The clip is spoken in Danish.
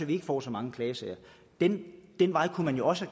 vi ikke får så mange klagesager ad den vej kunne man jo også